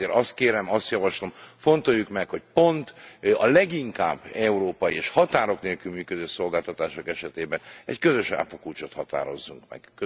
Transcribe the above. Éppen ezért azt kérem, azt javaslom, fontoljuk meg, hogy pont a leginkább európai és határok nélkül működő szolgáltatások esetében egy közös áfakulcsot határozzunk meg.